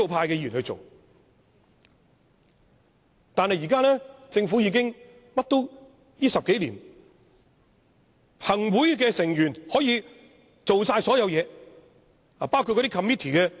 然而，現時的政府已經......在這10多年，行政會議的成員可以做任何事情，包括 Committee Chairman。